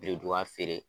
Birinduban feere